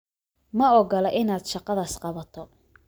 Ma ogola inaad shaqadaas qabato